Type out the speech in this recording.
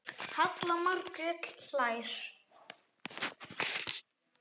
Halla Margrét hlær.